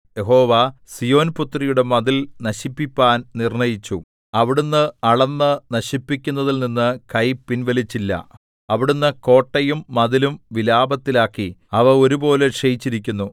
യഹോവ സീയോൻപുത്രിയുടെ മതിൽ നശിപ്പിപ്പാൻ നിർണ്ണയിച്ചു അവിടുന്ന് അളന്ന് നശിപ്പിക്കുന്നതിൽനിന്ന് കൈ പിൻവലിച്ചില്ല അവിടുന്ന് കോട്ടയും മതിലും വിലാപത്തിലാക്കി അവ ഒരുപോലെ ക്ഷയിച്ചിരിക്കുന്നു